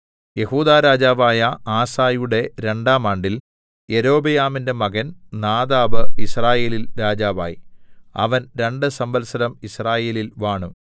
യെഹൂദാ രാജാവായ ആസയുടെ രണ്ടാം ആണ്ടിൽ യൊരോബെയാമിന്റെ മകൻ നാദാബ് യിസ്രായേലിൽ രാജാവായി അവൻ രണ്ട് സംവത്സരം യിസ്രായേലിൽ വാണു